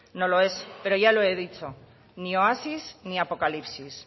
no lo es pero ya lo he dicho ni oasis ni apocalipsis